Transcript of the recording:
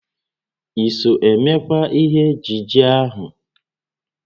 I so emekwa ihe ejije ahụ?